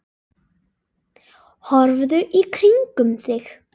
Horfðu í kringum þig!